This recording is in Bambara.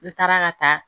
N taara ka taa